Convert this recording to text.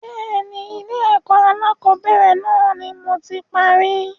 Bẹ́ẹ̀ni, Ilé ẹ̀kọ́ alakọ̀bẹ́ẹ́rẹ̀ náà ni moti parí.